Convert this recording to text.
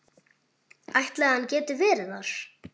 Ætli hann geti verið þar?